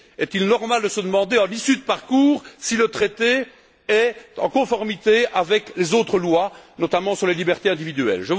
Est il normal de se demander à l'issue du parcours si le traité est en conformité avec les autres lois, notamment sur les libertés individuelles?